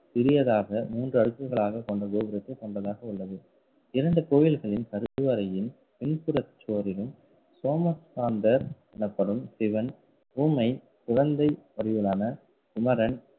சிறியதாக மூன்று அடுக்குகளாக கொண்ட கோபுரத்தை கொண்டதாக உள்ளது. இரண்டு கோயில்களின் கருவறையில் பின்புற சுவரிலும் சோமஸ்காந்தர் எனப்படும் சிவன் உமை குழந்தை வடிவிலான குமரன்